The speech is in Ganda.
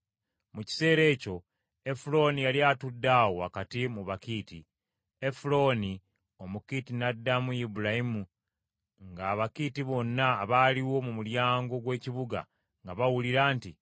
Mu kiseera ekyo Efulooni yali atudde awo wakati mu Bakiiti. Efulooni, Omukiiti n’addamu Ibulayimu nga Abakiiti bonna abaaliwo mu mulyango gw’ekibuga nga bawulira nti,